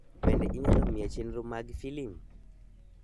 Bende inyalo miya chenro mag filim?